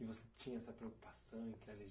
E você tinha essa preocupação em que era